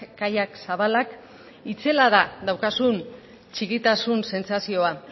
kaiak zabalak itzela da daukazun txikitasun sentsazioa